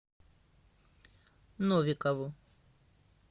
новикову